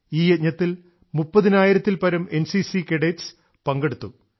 ഈ യജ്ഞത്തിൽ 30000ൽപരം എൻസിസി കേഡറ്റുകൾ പങ്കെടുത്തു